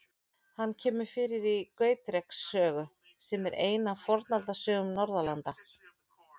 Hann kemur fyrir í Gautreks sögu, sem er ein af Fornaldarsögum Norðurlanda.